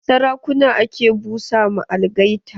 Sarakuna ake busa ma algaita.